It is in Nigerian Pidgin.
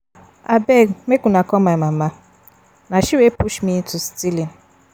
Abeg make una call my mama na she wey push me into stealing